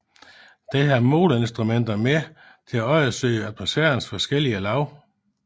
Den havde måleinstrumenter med til undersøge atmosfærens forskellige lag